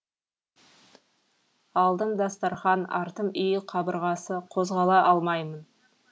алдым дастарқан артым үй қабырғасы қозғала алмаймын